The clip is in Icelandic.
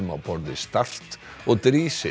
á borð við start og